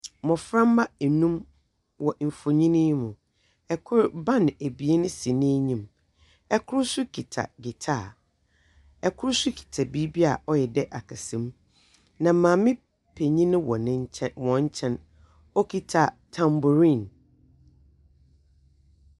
Mmofra mma enum wɔ mfoni yi mu. Ɛkor ban ebien si n'enyim. Ɛkor so kita gitaa, ɛkor so kita biribi a ɔyɛ dɛɛ akasamu. Na maame panyin wɔ wɔn kyɛn, okita tamborin.